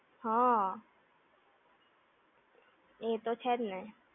હા. એ તો છે જ ને!